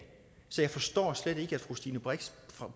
så jeg forstår slet ikke at fru stine brix